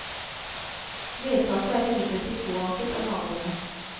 Vedtaket er imidlertid påanket av naboene.